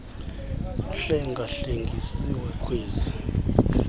uhlenga hlengisiwe ngkwezi